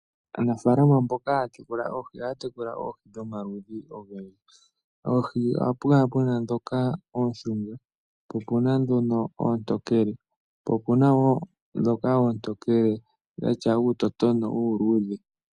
Aanafalama mboka haya tekula oohi ohaya tekula oohi dhomaludhi ogendji opuna ndhoka oontokele naandhoka dhina uutotono uutokele.